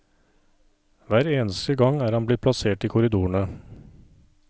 Hver eneste gang er han blitt plassert i korridorene.